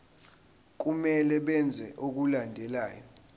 kumele benze okulandelayo